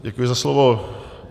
Děkuji za slovo.